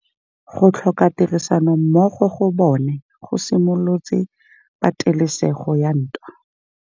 Go tlhoka tirsanommogo ga bone go simolotse patêlêsêgô ya ntwa.